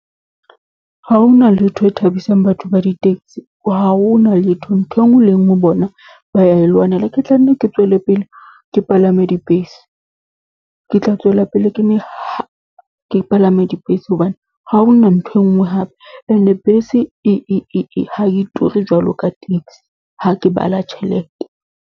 Ha ho na letho e thabisang batho ba di-taxi, ha ho na letho. Ntho e nngwe le e nngwe bona ba ya e lwanela. Ke tlanne ke tswele pele ke palame dibese, ke tla tswela pele ke palame dibese hobane ha hona nthwe e bngwe hape. And-e bese e, ha e ture jwalo ka taxi, ha ke bala tjhelete.